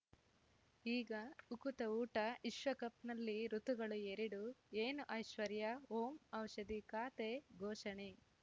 ಈಗ ಉಕುತ ಊಟ ವಿಶ್ವಕಪ್‌ನಲ್ಲಿ ಋತುಗಳು ಎರಡು ಏನು ಐಶ್ವರ್ಯಾ ಓಂ ಔಷಧಿ ಖಾತೆ ಘೋಷಣೆ